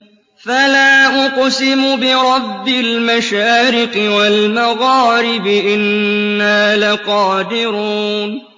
فَلَا أُقْسِمُ بِرَبِّ الْمَشَارِقِ وَالْمَغَارِبِ إِنَّا لَقَادِرُونَ